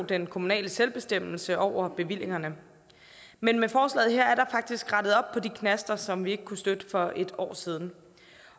den kommunale selvbestemmelse over bevillingerne men med forslaget her er der faktisk rettet op på de knaster som vi ikke kunne støtte for et år siden